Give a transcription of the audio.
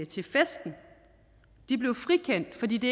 til festen de blev frikendt fordi det